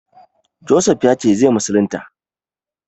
Josef ya ce zai musulunta?